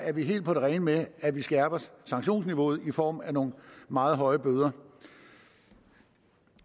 er vi helt på det rene med at vi skærper sanktionsniveauet i form af nogle meget høje bøder